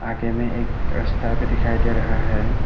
आगे में एक रस्ता भी दिखाई दे रहा है।